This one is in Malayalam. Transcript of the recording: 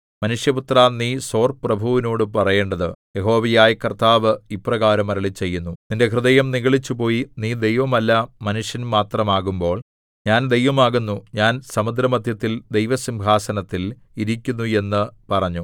മനുഷ്യപുത്രാ നീ സോർപ്രഭുവിനോടു പറയേണ്ടത് യഹോവയായ കർത്താവ് ഇപ്രകാരം അരുളിച്ചെയ്യുന്നു നിന്റെ ഹൃദയം നിഗളിച്ചുപോയി നീ ദൈവമല്ല മനുഷ്യൻ മാത്രമാകുമ്പോൾ ഞാൻ ദൈവമാകുന്നു ഞാൻ സമുദ്രമദ്ധ്യത്തിൽ ദൈവസിംഹാസനത്തിൽ ഇരിക്കുന്നു എന്ന് പറഞ്ഞു